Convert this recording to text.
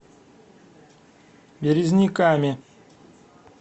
березниками